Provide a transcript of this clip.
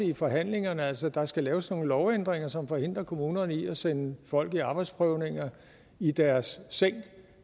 i forhandlingerne altså at der skal laves nogle lovændringer som forhindrer kommunerne i at sende folk i arbejdsprøvning i deres